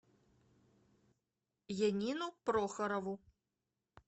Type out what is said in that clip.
янину прохорову